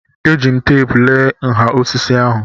Eji m teepu lee nha osisi ahụ.